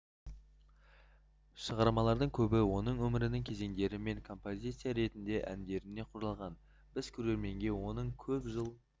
шығармалардың көбі оның өмірінің кезеңдері мен композиция ретінде әндеріне құралған біз көрерменге оның көп жыл